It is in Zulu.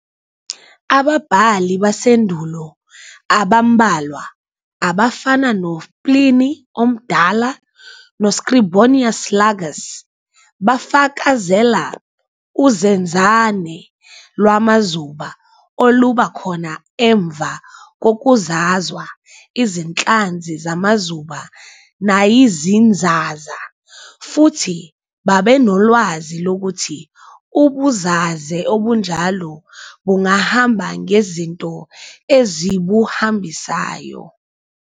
Ababhali basendulo abambalwa, abafana no-Pliny oMdala no-Scribonius Largus, bafakazela uzenzane lwamazuba oluba khona emva kokuzazwa izinhlanzi zamazuba nayizinzaza, futhi babenolwazi lokuthi ubuzaze obunjalo bungahamba ngezinto ezibuhambisayo.